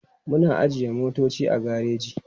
Muna ajiye motoci a gareji.